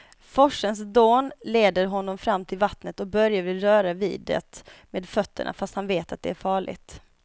Forsens dån leder honom fram till vattnet och Börje vill röra vid det med fötterna, fast han vet att det är farligt.